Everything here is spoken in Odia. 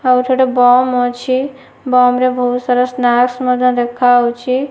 ଆଉ ଏଠି ଗୋଟେ ବମ୍ ଅଛି। ବମ୍ ରେ ବହୁତ୍ ସାରା ସ୍ନାକ୍ସ୍ ମଧ୍ୟ ଦେଖା ହୋଉଛି।